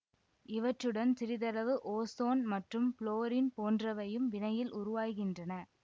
இவற்றுடன் சிறிதளவு ஓசோன் மற்றும் புளோரின் போன்றவையும் வினையில் உருவாகின்றன